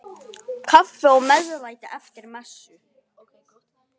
Kaffi og meðlæti eftir messu.